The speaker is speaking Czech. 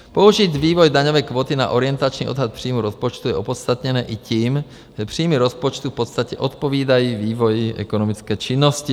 Použít vývoj daňové kvóty na orientační odhad příjmu rozpočtu je opodstatněné i tím, že příjmy rozpočtu v podstatě odpovídají vývoji ekonomické činnosti.